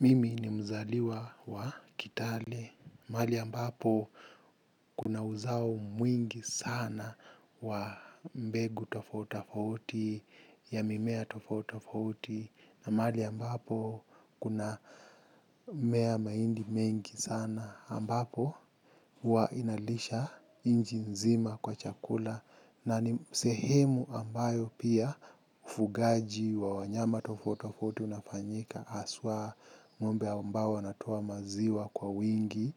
Mimi ni mzaliwa wa kitale, mahali ambapo kuna uzao mwingi sana wa mbegu tofauti tafaiti, ya mimea tofauti tafauti, na mahali ambapo kuna mea mahindi mengi sana ambapo huwa inalisha nchi nzima kwa chakula, na ni sehemu ambayo pia ufugaji wa wanyama tofauti tofauti unafanyika haswa ngombe ambayo wanatoa maziwa kwa wingi